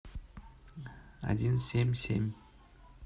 один семь семь